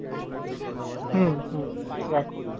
হম হম রাখো